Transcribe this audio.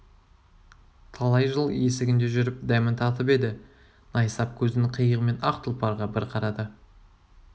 талай жыл есігінде жүріп дәмін татып еді найсап көзінің қиығымен ақ тұлпарға бір қарады